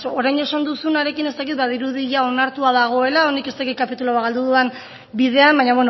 orain esan duzunarekin ez dakit badirudi ia onartua dagoela honek ez dakit kapitulu bat galdu dudan bidean baina